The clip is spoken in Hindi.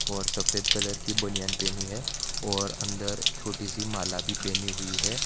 और सफेद कलर की बनियान पहनी है और अंदर छोटी सी माला भी पहनी हुई है।